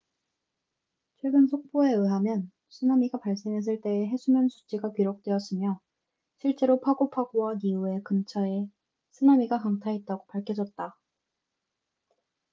최근 속보에 의하면 쓰나미가 발생했을 때의 해수면 수치가 기록되었으며 실제로 파고 파고와 니우에 근처에 쓰나미가 강타했다고 밝혀졌다